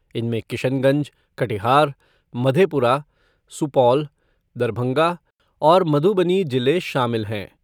इनमें किशनगंज, कटिहार, मधेपुरा, सुपौल, दरभंगा और मधुबनी जिले शामिल हैं।